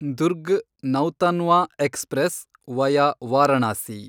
Durg Nautanwa express, via Varanasi